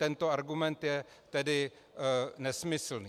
Tento argument je tedy nesmyslný.